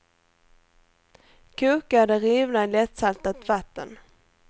Koka det rivna i lättsaltat vatten.